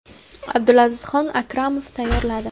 Abdulazizxon Akramov tayyorladi.